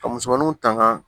Ka musomanuw tanga